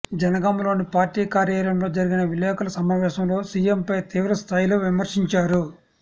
జనగామలోని party కార్యాలయం లో జరిగిన విలేకరుల సమావేశంలో సీఎం పై తీవ్ర స్థాయిలో విమర్శించారు